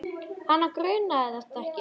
Hana grunaði þetta ekki.